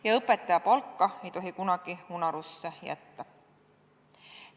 Ja õpetaja palka ei tohi kunagi unarusse jätta.